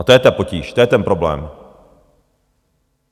A to je ta potíž, to je ten problém.